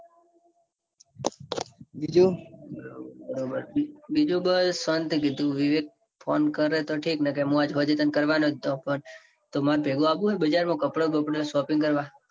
બીજું બીજું બોલ શોન્તી કીધું. વિવેક phone કરે તો ઠીક બાકૂ હું સાંજે કરવાનો જ હતો. phone તો માર ભેગું આવું હોયન તો બજાર માં કપડાં બાપડા shopping કરવા.